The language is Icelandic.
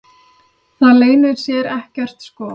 Það leynir sér ekkert sko.